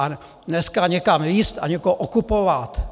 A dneska někam lízt a někoho okupovat!